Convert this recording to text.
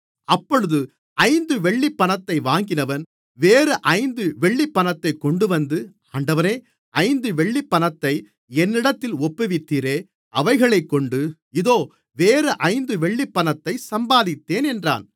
அப்பொழுது ஐந்து வெள்ளிப்பணத்தை வாங்கினவன் வேறு ஐந்து வெள்ளிப்பணத்தைக் கொண்டுவந்து ஆண்டவனே ஐந்து வெள்ளிப்பணத்தை என்னிடத்தில் ஒப்புவித்தீரே அவைகளைக்கொண்டு இதோ வேறு ஐந்து வெள்ளிப்பணத்தைச் சம்பாதித்தேன் என்றான்